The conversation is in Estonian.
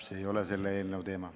See ei ole selle eelnõu teema.